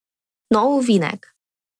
Nov ovinek.